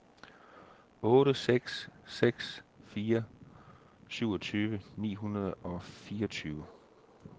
otte seks seks fire syvogtyve ni hundrede og fireogtyve